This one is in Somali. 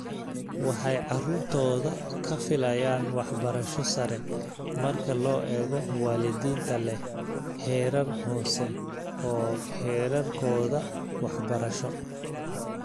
Waxay caruurtooda ka filayaan waxbarasho sare marka loo eego waalidiinta leh heerar hoose oo heerarkooda waxbarasho.